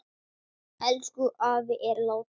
Elsku afi er látinn.